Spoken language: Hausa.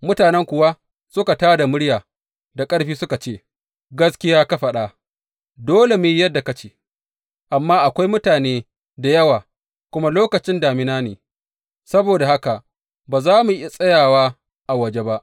Mutanen kuwa suka tā da murya da ƙarfi suka ce, Gaskiya ka faɗa, dole mu yi yadda ka ce, Amma akwai mutane da yawa, kuma lokacin damina ne; saboda haka ba za mu iya tsayawa a waje ba.